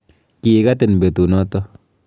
Kiikatin betunoto.